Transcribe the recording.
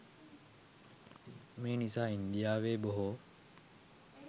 මේ නිසා ඉන්දියාවේ බොහෝ